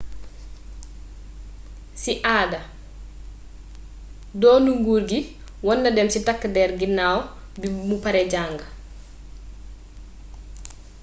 si aada donnu nguur gi warna dem si tak der ginaw bi mu pare jang